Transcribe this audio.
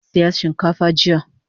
Na saya shinkafa jiya